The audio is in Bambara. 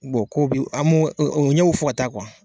kow bi an m'o o ɲɛw bi fɔ ka taa